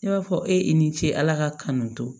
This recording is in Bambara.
Ne b'a fɔ e ye i ni ce ala ka kanu to